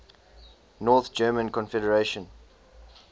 north german confederation